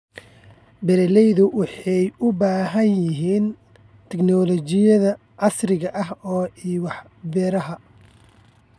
Beeraleydu waxay u baahan yihiin tignoolajiyada casriga ah ee beeraha.